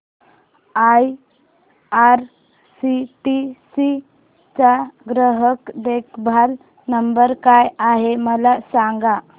IRCTC चा ग्राहक देखभाल नंबर काय आहे मला सांग